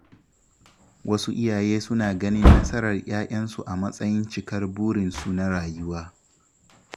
Wasu iyaye suna ganin nasarar ‘ya’yansu a matsayin cikar burinsu na rayuwa.